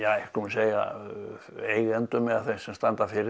segja eigendum eða þeim sem standa fyrir